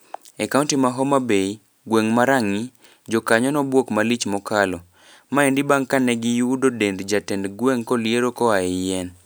E kaunti ma Homa Bay, gweng ma Rang'i, jokanyo nobuok malich mokalo. Maendi bang kane giyudo dend jatend gweng koliero koa e yien.